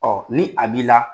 ni a b'i la